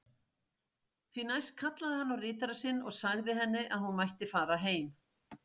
Því næst kallaði hann á ritara sinn og sagði henni að hún mætti fara heim.